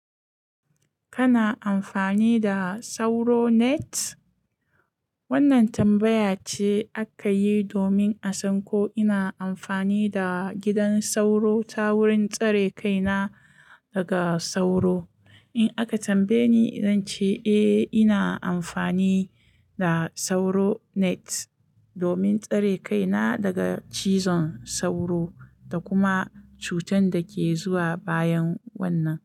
Kana amfani da sauro net? Wannan tambaya ce aka yi domin a san ko ina amfani da gidan sauro ta wurin tsare kaina daga sauro. In aka tambaye ni, zan ce eh ina amfani da sauro net domin tsare kaina daga cizon sauro da kuma cutan da ke zuwa bayan wannan.